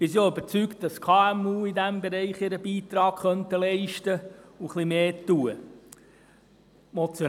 Wir sind auch überzeugt, dass die KMU in diesem Bereich ihren Beitrag leisten und ein bisschen mehr tun könnten.